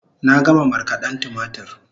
Na gama markaden tumatur